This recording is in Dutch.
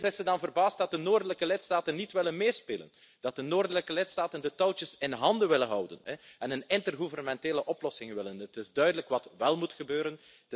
En opeens is ze dan verbaasd dat de noordelijke lidstaten niet willen meespelen, dat de noordelijke lidstaten de touwtjes in handen willen houden en een intergouvernementele oplossing willen. Het is duidelijk wat wél moet gebeuren.